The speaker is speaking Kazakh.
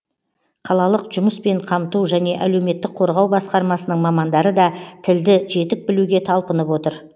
қалалық жұмыспен қамту және әлеуметтік қорғау басқармасының мамандары да тілді жетік білуге талпынып отыр